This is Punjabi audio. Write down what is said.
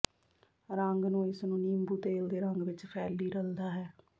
ਰੰਗ ਨੂੰ ਇਸ ਨੂੰ ਨਿੰਬੂ ਤੇਲ ਦੇ ਰੰਗ ਵਿਚ ਫ਼ੈਲੀ ਰਲਦਾ ਹੈ